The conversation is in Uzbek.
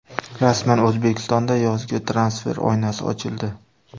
Rasman: O‘zbekistonda yozgi transfer oynasi ochildi.